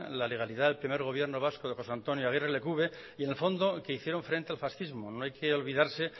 la legalidad del primer gobierno vasco de josé antonio aguirre lecube y en el fondo que hicieron frente al fascismo no hay que olvidarse